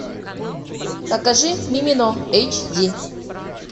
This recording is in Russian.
покажи мимино эйч ди